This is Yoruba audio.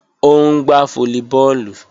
Ó ń gbá fólíbọọ̀lù